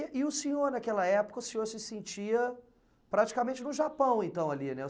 E o senhor, naquela época, o senhor se sentia praticamente no Japão, então, ali, né?